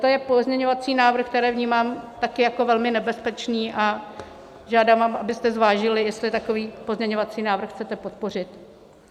To je pozměňovací návrh, který vnímám také jako velmi nebezpečný, a žádám vás, abyste zvážili, jestli takový pozměňovací návrh chcete podpořit.